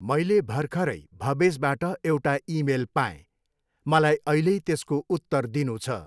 मैले भर्खरै भवेसबाट एउटा इमेल पाएँ, मलाई अहिल्यै त्यसको उत्तर दिनु छ।